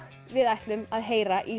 við ætlum að heyra í